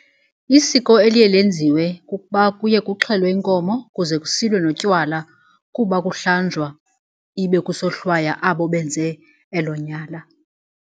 Isiko eliye lenziwe kukuba kuye kuxhelwe inkomo kuze kusilwe notywala kuba kuhlanjwa ibe kusohlwaywa abo benze elo nyala.